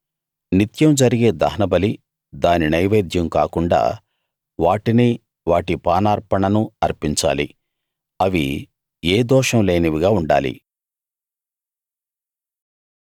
నిత్యం జరిగే దహనబలి దాని నైవేద్యం కాకుండా వాటినీ వాటి పానార్పణను అర్పించాలి అవి ఏ దోషం లేనివిగా ఉండాలి